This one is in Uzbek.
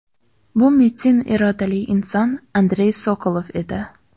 Bu metin irodali inson Andrey Sokolov edi.